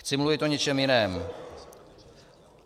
Chci mluvit o něčem jiném.